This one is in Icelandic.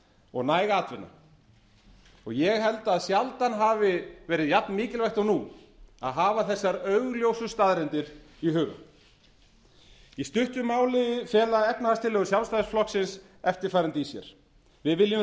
og næg atvinna og ég held að sjaldan hafi verið jafn miklvægt og nú að hafa þessar augljósu staðreyndir í huga í stuttu máli fela efnahagstillögur sjálfstæðisflokksins eftirfarandi í sér við viljum